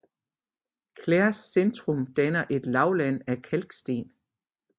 Clares centrum danner et lavland af kalksten